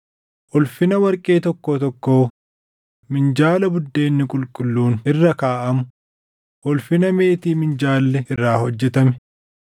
ulfina warqee tokkoo tokkoo minjaala buddeenni qulqulluun irra kaaʼamuu, ulfina meetii minjaalli irraa hojjetame,